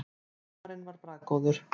Humarinn var bragðgóður.